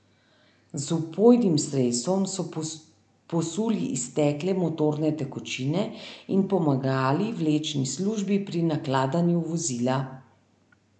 Z vpojnim sredstvom so posuli iztekle motorne tekočine in pomagali vlečni službi pri nakladanju vozila.